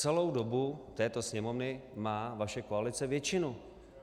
Celou dobu této Sněmovny má vaše koalice většinu.